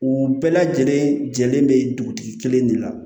U bɛɛ lajɛlen jɛlen bɛ dugutigi kelen de la